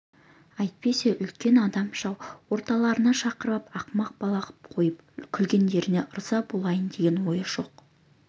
әйтпесе үлкен адамша орталарына шақырып ап ақымақ бала қып қойып күлгендеріне ырза болайын деген ойы жоқ